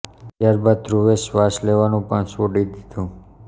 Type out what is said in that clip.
ત્યાર બાદ ધ્રુવે શ્વાશ લેવાનું પણ છોડી દીધું